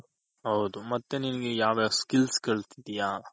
ಹೌದು ಮತ್ತೆ ನಿನ್ಗೆ ಯಾವ್ಯಾವ್ Skills ಕಲ್ತಿದ್ಯ.